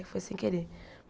Que foi sem querer.